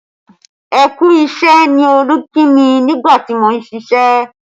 Ẹ kú isẹ ni Olú kí mi nígbà tí mo ń ṣíṣe